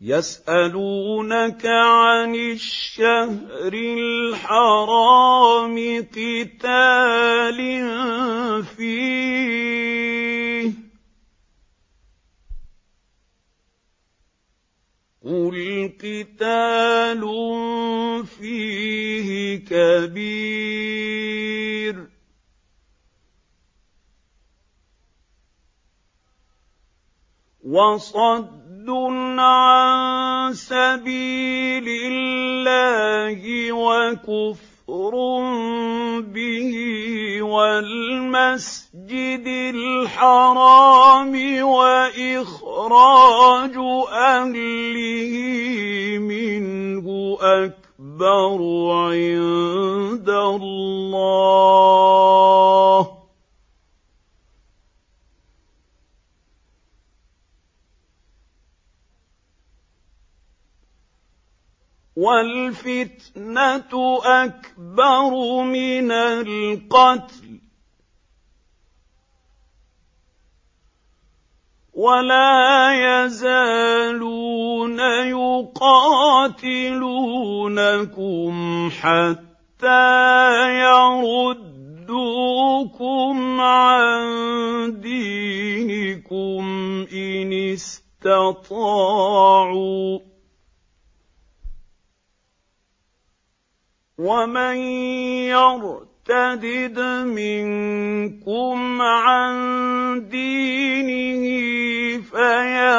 يَسْأَلُونَكَ عَنِ الشَّهْرِ الْحَرَامِ قِتَالٍ فِيهِ ۖ قُلْ قِتَالٌ فِيهِ كَبِيرٌ ۖ وَصَدٌّ عَن سَبِيلِ اللَّهِ وَكُفْرٌ بِهِ وَالْمَسْجِدِ الْحَرَامِ وَإِخْرَاجُ أَهْلِهِ مِنْهُ أَكْبَرُ عِندَ اللَّهِ ۚ وَالْفِتْنَةُ أَكْبَرُ مِنَ الْقَتْلِ ۗ وَلَا يَزَالُونَ يُقَاتِلُونَكُمْ حَتَّىٰ يَرُدُّوكُمْ عَن دِينِكُمْ إِنِ اسْتَطَاعُوا ۚ وَمَن يَرْتَدِدْ مِنكُمْ عَن دِينِهِ فَيَمُتْ وَهُوَ كَافِرٌ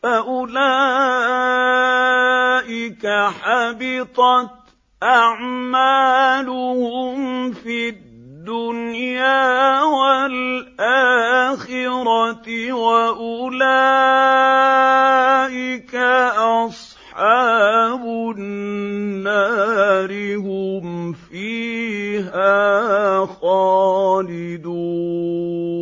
فَأُولَٰئِكَ حَبِطَتْ أَعْمَالُهُمْ فِي الدُّنْيَا وَالْآخِرَةِ ۖ وَأُولَٰئِكَ أَصْحَابُ النَّارِ ۖ هُمْ فِيهَا خَالِدُونَ